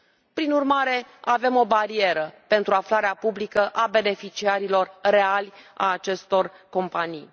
Prin urmare, avem o barieră pentru aflarea publică a beneficiarilor reali ai acestor companii.